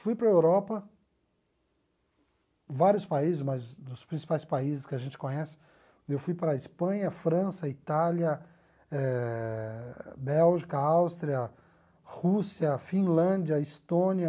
Fui para a Europa, vários países, mas dos principais países que a gente conhece, eu fui para a Espanha, França, Itália, eh Bélgica, Áustria, Rússia, Finlândia, Estônia,